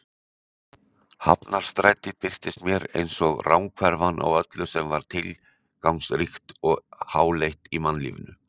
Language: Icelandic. Hafnarstræti birtist mér einsog ranghverfan á öllu sem var tilgangsríkt og háleitt í mannlífinu.